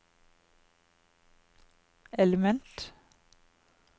element